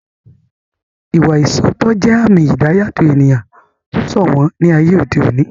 Ìwà ìṣoótọ́ jẹ́ àmì ìdáyàtọ̀ ènìyàn tó sòwọ́n ní ayé òde òní